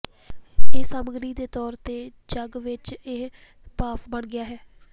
ਇਹ ਸਮੱਗਰੀ ਦੇ ਤੌਰ ਤੇ ਝੱਗ ਵਿੱਚ ਇੱਕ ਭਾਫ਼ ਬਣ ਗਿਆ ਹੈ